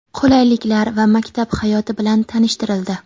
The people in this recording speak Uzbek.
qulayliklar va maktab hayoti bilan tanishtirildi.